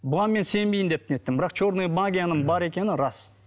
бұған мен сенбеймін деп не еттім бірақ черная магияның бар екені рас